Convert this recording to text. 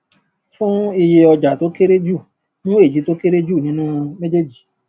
fún iye ọjà tó kéré jù mú èyí tó kéré jù nínú méjèèjì